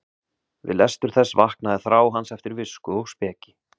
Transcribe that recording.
Við lestur þess vaknaði þrá hans eftir visku og speki.